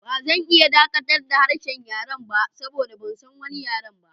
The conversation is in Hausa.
Ba zan iya dakatar da harshen yaren ba saboda ban san wani yare ba.